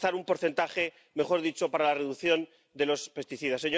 Alcanzar un porcentaje —mejor dicho— para la reducción de los pesticidas.